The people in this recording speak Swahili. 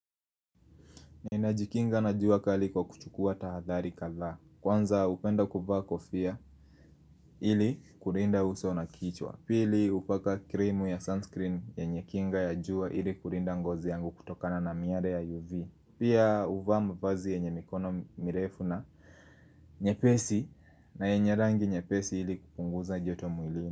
Na inajikinga na juaka aliko kuchukua tahadhali kala Kwanza upenda kubawa kofia ili kurinda uso na kichwa Pili upaka krimu ya sunscreen ya nye kinga ya jua ili kurinda ngozi yangu kutokana na miare ya UV Pia uvama vazi yenye mikono mirefuna nye pesi na yenye rangi nye pesi ili kupunguza joto muilini.